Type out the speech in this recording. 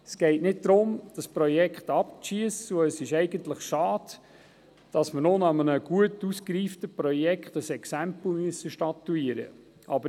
Es geht nicht darum, das Projekt abzuschiessen, und es ist eigentlich schade, dass wir nun an einem gut ausgereiften Projekt ein Exempel statuieren müssen.